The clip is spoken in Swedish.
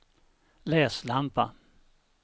läslampa